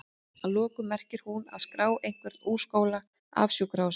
Að lokum merkir hún að?skrá einhvern úr skóla, af sjúkrahúsi?